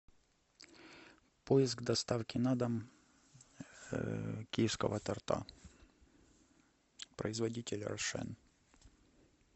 поиск доставки на дом киевского торта производитель рошен